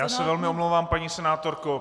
Já se velmi omlouvám, paní senátorko.